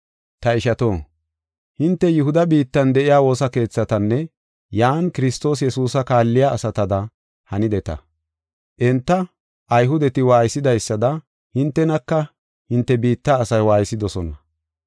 Ta ishato, hinte Yihuda biittan de7iya woosa keethatanne yan Kiristoos Yesuusa kaalliya asatada hanideta. Enta Ayhudeti waaysidaysada hintenaka hinte biitta asay waaysidosona.